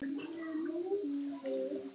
Hvíl þú í friði frændi.